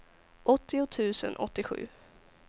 åttio tusen åttiosju